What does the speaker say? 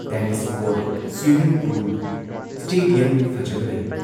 Tennis court, swimming pool, stadium ꯐꯖꯕ ꯂꯩ ꯫